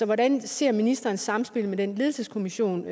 hvordan ser ministeren samspillet med den ledelseskommission